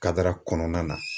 Kadara kɔnɔna na